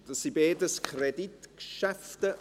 Es sind beides Kreditgeschäfte.